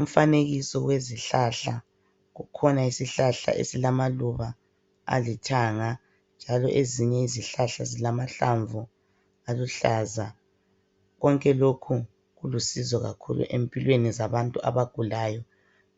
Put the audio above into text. Umfanekiso wezihlahla kukhona isihlahla ezilamaluba alithanga njalo ezinye izihlahla zilamahlamvu aluhlaza konke lokhu kulusizo kakhulu empilweni zabantu abagulayo